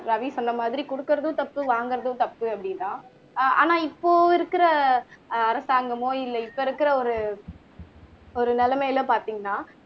ரவி சொன்ன மாதிரி குடுக்குறதும் தப்பு வாங்குறதும் தப்பு அப்படின்னா ஆஹ் ஆனா இப்போ இருக்கிற அரசாங்கமோ இல்ல இப்ப இருக்கிற ஒரு ஒரு நிலமைல பார்த்தீங்கன்னா